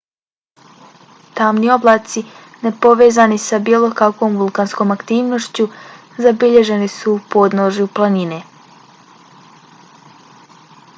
tamni oblaci nepovezani sa bilo kakvom vulkanskom aktivnošću zabilježeni su u podnožju planine